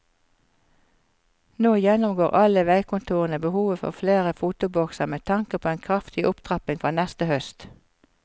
Nå gjennomgår alle veikontorene behovet for flere fotobokser med tanke på en kraftig opptrapping fra neste høst.